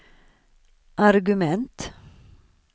argument